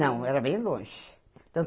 Não, era bem longe. Tanto